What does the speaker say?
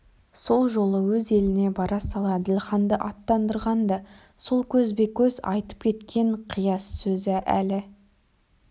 сол жолы өз еліне бара сала әділханды аттандырған да сол көзбе-көз айтып кеткен қияс сөзі әлі